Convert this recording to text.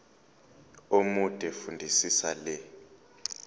omude fundisisa le